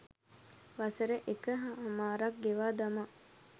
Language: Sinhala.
වසර එක හමාරක් ගෙවා දමා